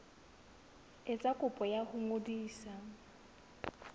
etsa kopo ya ho ngodisa